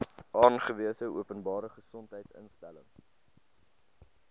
aangewese openbare gesondheidsinstelling